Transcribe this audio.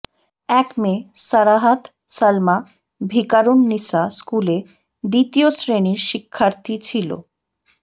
এক মেয়ে সারাহাত সালমা ভিকারুননিসা স্কুলে দ্বিতীয় শ্রেণির শিক্ষার্থী ছিল